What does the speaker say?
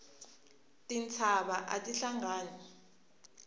tintshava ati hlangani